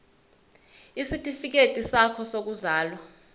isitifikedi sakho sokuzalwa